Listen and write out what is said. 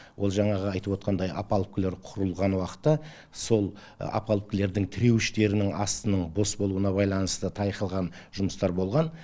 ол жаңағы айтып отқандай опалубкілер құрылған уақытта сол опалубкілердың тіреуіштерінің астының бос болуына байланысты тайқыған жұмыстар болған